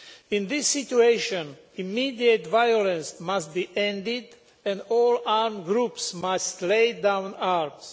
In this situation, immediate violence must be ended, and all armed groups must lay down their arms.